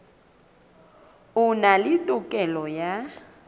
a na le tokelo ya